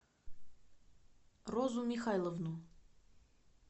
розу михайловну